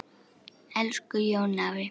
Elsku Jón afi.